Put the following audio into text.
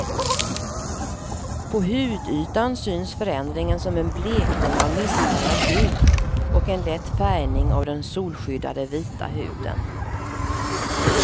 På hudytan syns förändringen som en blekning av missfärgad hud och en lätt färgning av den solskyddade vita huden.